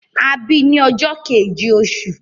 A bí i ní ọjọ́ keje oṣù